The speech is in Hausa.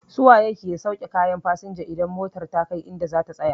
Su waye ke sauke kayan fasinja idan motar kai idan za ta tsaya?